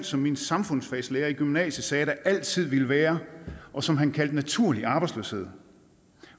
som min samfundsfagslærer i gymnasiet sagde der altid vil være og som han kaldte naturlig arbejdsløshed